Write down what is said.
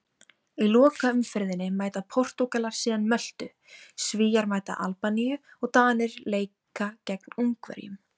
Í lokaumferðinni mæta Portúgalar síðan Möltu, Svíar mæta Albaníu og Danir leika gegn Ungverjum.